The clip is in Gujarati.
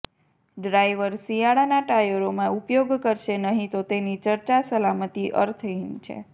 ડ્રાઈવર શિયાળાના ટાયરોમાં ઉપયોગ કરશે નહીં તો તેની ચર્ચા સલામતી અર્થહીન છે